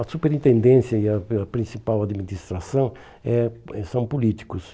A superintendência e a e a principal administração é é são políticos.